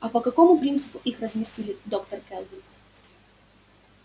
а по какому принципу их разместили доктор кэлвин